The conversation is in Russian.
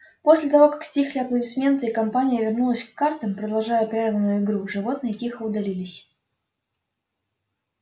после того как стихли аплодисменты и компания вернулась к картам продолжая прерванную игру животные тихо удалились